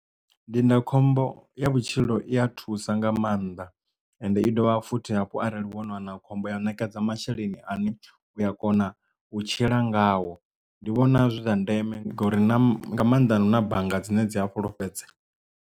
Ndindakhombo ya vhutshilo i a thusa nga maanḓa and i dovha futhi hafhu arali vhono wana khombo ya ṋekedza masheleni ane u a kona u tshila ngawo ndi vhona zwi zwa ndeme ngori na nga maanḓa na bannga dzine dzi ha fhulufhedzea.